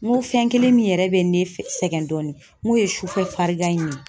N ko fɛn kelen min yɛrɛ bɛ ne sɛgɛn dɔɔnin n k'o ye sufɛ farigan in ye